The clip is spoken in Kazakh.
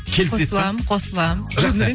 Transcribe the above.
қосылам қосылам жақсы